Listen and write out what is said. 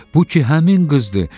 Bu ki həmin qızdır.